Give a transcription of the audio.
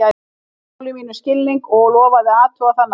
Hann sýndi máli mínu skilning og lofaði að athuga það nánar.